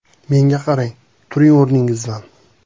“Menga qarang, turing o‘rningizdan.